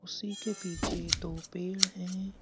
उसी के पीछे दो पेड़ हैं।